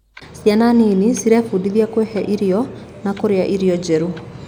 Ciana nini nĩcirebundithia kwĩhe irio na kũrĩa irio njerũ.